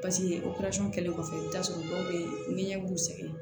operalisɔn kɛlen kɔfɛ i bɛ taa sɔrɔ dɔw bɛ yen ɲɛ b'u sɛgɛn